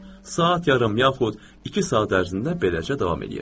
Saat yarım yaxud iki saat ərzində beləcə davam eləyir.